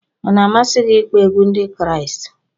Ọ na-amasị gị ịkpọ egwu Ndị Kraịst?